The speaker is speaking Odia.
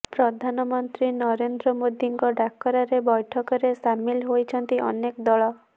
ପ୍ରଧାନମନ୍ତ୍ରୀ ନରେନ୍ଦ୍ର ମୋଦିଙ୍କ ଡାକରାରେ ବୈଠକରେ ସାମିଲ ହୋଇଛନ୍ତି ଅନେକ ଦଳ